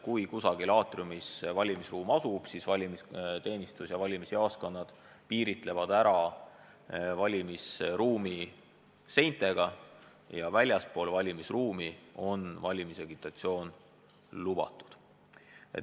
Kui valimisruum asub kusagil aatriumis, siis piiravad valimisteenistus ja valimisjaoskonnad valimisruumi seintega ja väljaspool selliselt piiratud valimisruumi on valimisagitatsioon lubatud.